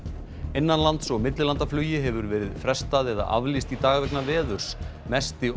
innanlands og millilandaflugi hefur verið frestað eða aflýst í dag vegna veðurs mesti